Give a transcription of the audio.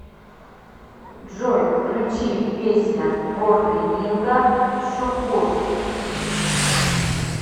джой включи песня борлигинга шукур